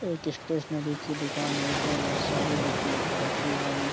एक स्टेस्नरी कि दूकान है उसमे बहुत सारी बुक लक रखी है।